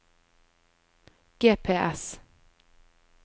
GPS